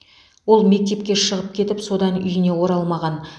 ол мектепке шығып кетіп содан үйіне оралмаған